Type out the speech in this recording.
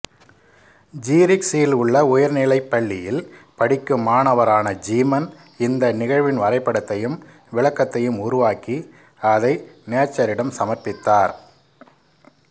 ஜீரிக்ஸியில் உள்ள உயர்நிலைப் பள்ளியில் படிக்கும் மாணவரான ஜீமன் இந்த நிகழ்வின் வரைபடத்தையும் விளக்கத்தையும் உருவாக்கி அதை நேச்சரிடம் சமர்ப்பித்தார்